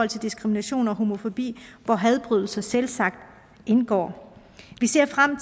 til diskrimination og homofobi hvor hadforbrydelser selvsagt indgår vi ser frem